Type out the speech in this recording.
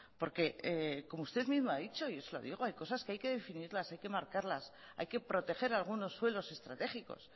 porque como usted mismo ha dicho y yo se lo digo hay cosas que hay que definirlas hay que marcarlas hay que proteger algunos suelos estratégicos